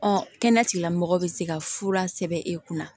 Ɔ kɛnɛya tigilamɔgɔw bɛ se ka fura sɛbɛn e kunna